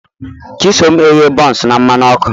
Chisom eghe buns na mmanụ ọkụ